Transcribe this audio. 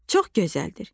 Çox gözəldir.